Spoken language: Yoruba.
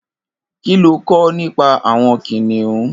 Kiló n kọ̀ nipà awọn kiniùn?